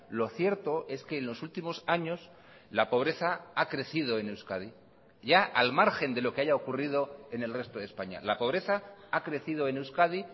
lo cierto es que en los últimos años la pobreza ha crecido en euskadi ya al margen de lo que haya ocurrido en el resto de españa la pobreza ha crecido en euskadi